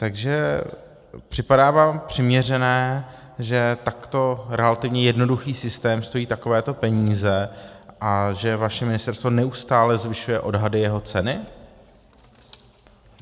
Takže připadá vám přiměřené, že takto relativně jednoduchý systém stojí takovéto peníze a že vaše ministerstvo neustále zvyšuje odhady jeho ceny?